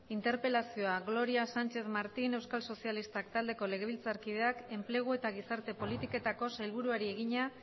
interpelazioa gloria sánchez martín euskal sozialistak taldeko legebiltzarkideak enplegu eta gizarte politiketako sailburuari egina